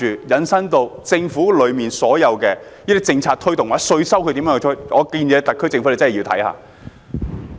引申下來，就政府如何推動所有政策或徵稅，我建議特區政府認真看看。